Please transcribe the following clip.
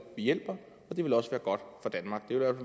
hjælper og det ville også